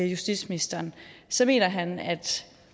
justitsministeren så mener han at